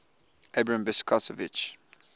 abram besicovitch